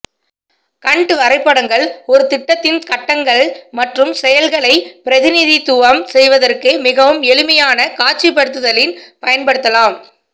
கன்ட் வரைபடங்கள் ஒரு திட்டத்தின் கட்டங்கள் மற்றும் செயல்களை பிரதிநிதித்துவம் செய்வதற்கு மிகவும் எளிமையான காட்சிப்படுத்தலில் பயன்படுத்தலாம்